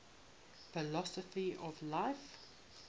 philosophy of life